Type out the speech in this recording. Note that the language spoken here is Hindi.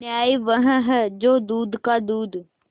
न्याय वह है जो दूध का दूध